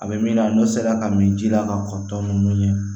A bɛ min na n'o sera ka min ji la ka kɔ ninnu ɲɛ